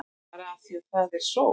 Bara af því að það er sól.